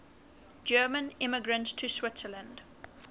german immigrants to switzerland